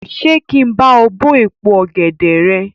Ṣé kí n bá ọ bó èpo ọ̀gẹ̀dè rẹ?